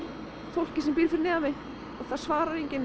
fólkinu sem býr fyrir neðan mig og það svarar enginn